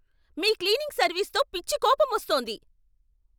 మీ cleaning సర్వీస్తో పిచ్చి కోపమోస్తోంది.